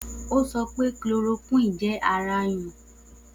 O sọ pe chloroquine jẹ ara nyún.